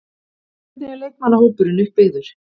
Hvernig er leikmannahópurinn uppbyggður?